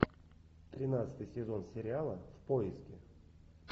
тринадцатый сезон сериала в поиске